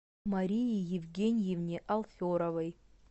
марии евгеньевне алферовой